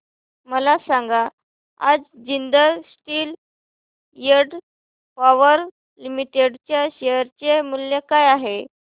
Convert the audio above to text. मला सांगा आज Jindal steel and power limited च्या शेअर चे मूल्य काय आहे